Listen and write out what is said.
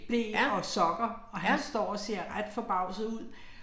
Ble og sokker, og han står og ser ret forbavset ud